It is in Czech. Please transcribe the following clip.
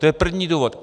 To je první důvod.